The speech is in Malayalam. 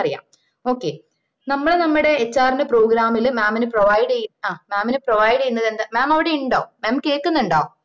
okay നമ്മള് നമ്മടേ HR ന്റെ program ല് mam ന് provide ആ mam ന provide ചെയ്യുന്ന mam അവിടെ ഉണ്ടോ mam കേൾക്കുന്നുണ്ടോ